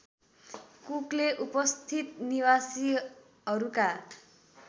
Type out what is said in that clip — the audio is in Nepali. कुकले उपस्थित निवासीहरूका